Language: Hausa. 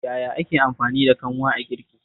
Yaya ake amfani da kanwa a girki?